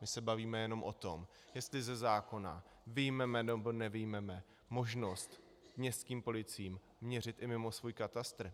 My se bavíme jenom o tom, jestli ze zákona vyjmeme, nebo nevyjmeme možnost městským policiím měřit i mimo svůj katastr.